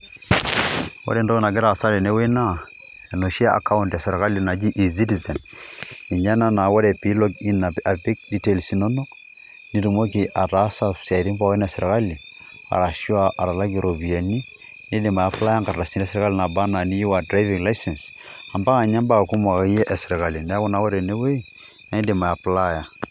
Ore entoki nagira aasa tene wueii naa enoshi ekaont ena esirkali naji eCitizen ninye ena naa ore peilogin apik details inonok nitumoki ataasa esiaitin pooki esirkali aashu atakakie iropiyiani niidim ayapilaya eng'ardasi pooki esirkali enaa licence ompaka ninye naii ibaa ake iyie esirkali neeku ore ene wueji iidim ayapilaya.